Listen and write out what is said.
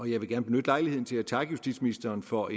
jeg vil gerne benytte lejligheden til at takke justitsministeren for